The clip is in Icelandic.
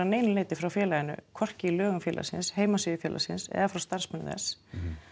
frá félaginu hvorki í lögum félagsins heimasíðu félagsins eða frá starfsmönnum þess